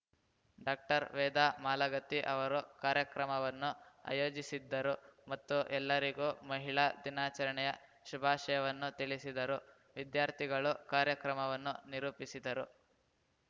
doctor Veda Malagatti ಅವರು ಕಾರ್ಯಕ್ರಮವನ್ನು ಆಯೋಜಿಸಿದ್ದರು ಮತ್ತು ಎಲ್ಲರಿಗೂ ಮಹಿಳಾ ದಿನಾಚರಣೆಯ ಶುಭಾಶಯವನ್ನು ತಿಳಿಸಿದರು ವಿದ್ಯಾರ್ಥಿಗಳು ಕಾರ್ಯಕ್ರಮವನ್ನು ನಿರೂಪಿಸಿದರು